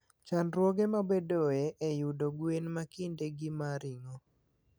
Chandruoge mabedoe e yudo gwen ma kindegi ma ring'o.